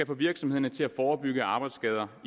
få virksomheder til at forebygge arbejdsskader